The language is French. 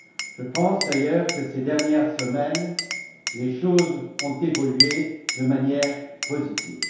Je pense d'ailleurs que ces dernières semaines, les choses ont évolué de manière positive.